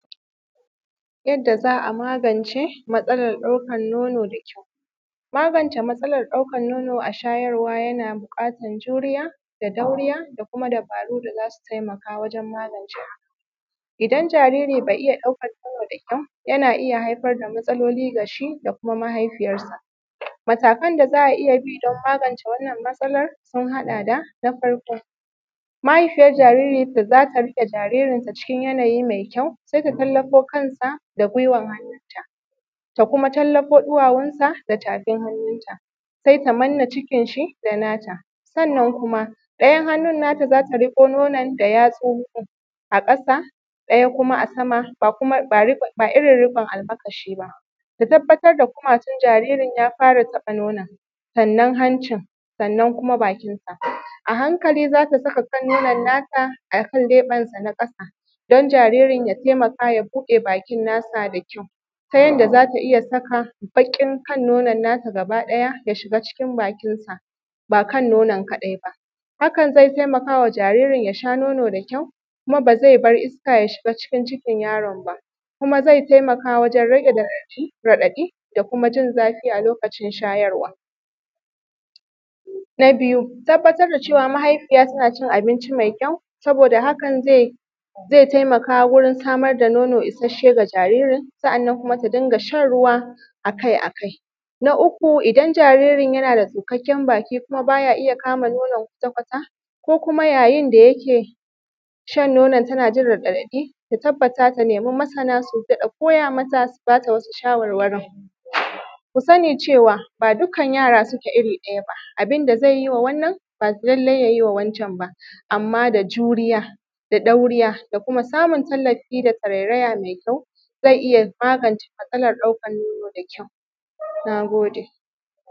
Yadda za magance matsalar ɗaukan nono da kyau. Magance matsalar ɗaukan nono a shayarwa yana buƙatan juriya da dauriya da kuma dabaru da zasu taimakawa wajen magance haka. Idan jariri bai iya ɗaukan nono da kyau, yana iya haifar da matsaloli dashi da kuma mahaifiyarsa. Matakan da za a iya bi don magance wannan matsalar sun haɗa da: Na farko, mahaifiyar jariri da zata rike jaririnta cikin yana yi mai kyau, sai ta tallafo kansa da gwiwan hannunta ta kuma tallafo duwawunsa da tafin hannunta, sai ta manna cikinshi da nata, sannan kuma daya hannun nata zata riƙo nonon da yatsunta, a ƙasa ɗaya kuma a sama ba irin rikon almakashi ba, tabbatar da kumatun jaririn ya fara taɓa nonon, sannan hanci, sannan kuma bakinsa, a hankali zata saka kan nonon nata akan leɓensa na kasa, don jaririn ya taimaka ya buɗe bakin nasa da kyau, ta yanda zata iya saka bakin kan nonon nata gaba ɗaya ya shiga cikin bakinsa, ba kan nonon kadai ba, hakan zai taimakawa jaririn yasha nono da kyau, kuma ba zai bar iska ya shiga cikin cikin yaron ba, kuma zai taimaka wajen rage radaɗi da kuma jin zafi a lokacin shayarwa. Na biyu, tabbatar da cewa mahaifiya tana cin abincin mai kyau saboda hakan ze, ze taimaka wurin samar da nono isashe ga jaririn sa’annan kuma ta dinga shan ruwa akai-akai Na uku, idan jaririn yana da tsukakken baki kuma baya iya kama nonon kwata-kwata ko kuma yayin da yake shan nonon tana jin radaɗi, ta tabbata ta nemi masana su dada koya mata, su bata wasu shawarwari. Ku sani cewa ba dukkan yara suke iri ɗaya ba, abinda zai yiwa wannan ba lalle ya yiwa wan can ba, amma da juriya da dauriya da kuma samun tallafi da tarairaya mai kyau za iya magance matsalar ɗaukan nono da kyau. Na gode.